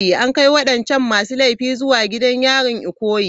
An kai wadancan masu laifin zuwa gidan yarin Ikoyi.